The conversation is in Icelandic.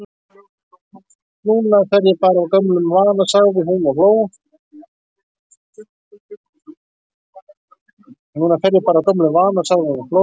Núna fer ég bara af gömlum vana, sagði hún og hló.